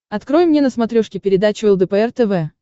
открой мне на смотрешке передачу лдпр тв